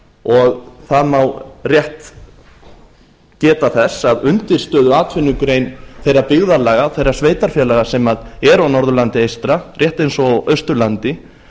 og það má rétt geta þess að undirstöðuatvinnugrein þeirra byggðarlaga og þeirra sveitarfélaga sem eru á norðurlandi eystra rétt eins og á austurlandi